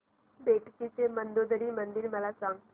बेटकी चे मंदोदरी मंदिर मला सांग